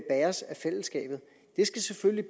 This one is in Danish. fællesskabet det skal selvfølgelig